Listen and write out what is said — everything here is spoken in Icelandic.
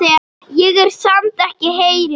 Ég er samt ekkert heilög.